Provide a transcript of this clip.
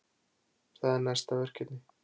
Það er næsta verkefni.